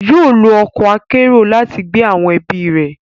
Yóò lo ọkọ akero lati gbé awọn ẹbi rẹ